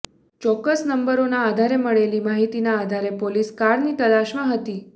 ચોક્કસ નંબરોના આધારે મળેલી માહિતીના આધારે પોલીસ કારની તલાસમાં હતી